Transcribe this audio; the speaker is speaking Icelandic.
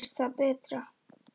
Gerist það betra.